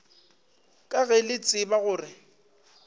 ka ge le tseba gore